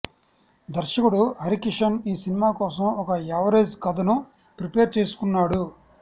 దర్శకుడు హరి కిషన్ ఈ సినిమా కోసం ఒక యావరేజ్ కథను ప్రిపేర్ చేసుకున్నాడు